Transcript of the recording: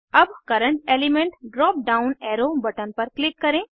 अब current element drop down arrow button पर click करें